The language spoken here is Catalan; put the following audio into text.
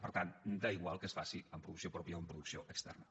per tant és igual que es faci amb producció pròpia o amb producció externa